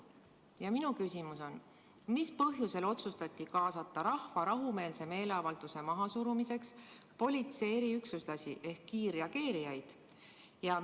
Ja minu küsimus on: mis põhjusel otsustati kaasata rahva rahumeelse meeleavalduse mahasurumiseks politsei eriüksuslasi ehk kiirreageerijaid?